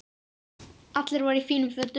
Allir voru í fínum fötum.